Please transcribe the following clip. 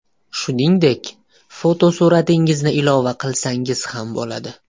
Shuningdek, fotosuratingizni ilova qilsangiz ham bo‘ladi.